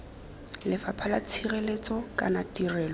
lefapha la tshireletso kana tirelo